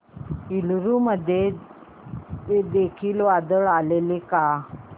एलुरू मध्ये देखील वादळ आलेले का